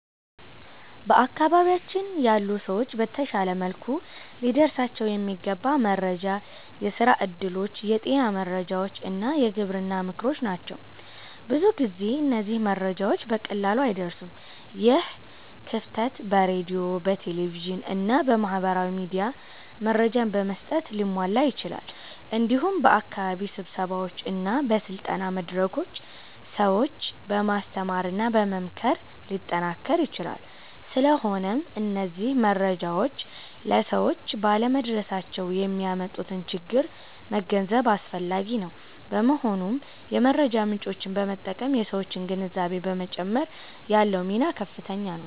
በአካባቢያችን ያሉ ሰዎች በተሻለ መልኩ ሊደርሳቸው የሚገባ መረጃ የስራ እድሎች፣ የጤና መረጃዎች እና የግብርና ምክሮች ናቸው። ብዙ ጊዜ እነዚህ መረጃዎች በቀላሉ አይደርሱም። ይህ ክፍተት በሬዲዮ፣ በቴሌቪዥን እና በማህበራዊ ሚዲያ መረጃ በመስጠት ሊሟላ ይችላል። እንዲሁም በአካባቢ ስብሰባዎች እና በስልጠና መድረኮች ሰዎችን በማስተማርና በመምከር ሊጠናከር ይችላል። ስለሆነም እነዚህ መረጃዎች ለሰዎች ባለመድረሳቸው የሚያመጡትን ችግር መገንዘብ አስፈላጊ ነው። በመሆኑም የመረጃ ምጮችን በመጠቀም የሠዎችን ግንዛቤ በመጨመር ያለው ሚና ከፍተኛ ነው።